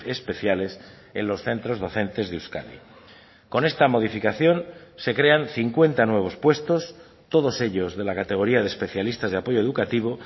especiales en los centros docentes de euskadi con esta modificación se crean cincuenta nuevos puestos todos ellos de la categoría de especialistas de apoyo educativo